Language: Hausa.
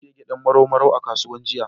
Na sayi gyaɗa Marau Marau a kasuwa jiya.